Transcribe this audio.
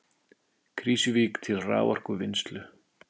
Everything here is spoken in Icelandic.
Krýsuvík til raforkuvinnslu.